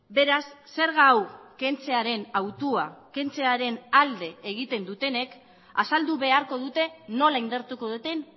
beraz zerga hau kentzearen hautua kentzearen alde egiten dutenek azaldu beharko dute nola indartuko duten